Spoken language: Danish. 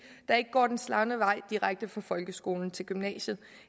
der ikke går den slagne vej direkte fra folkeskolen til gymnasiet